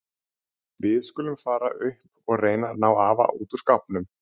Við skulum fara upp og reyna að ná afa út úr skápnum.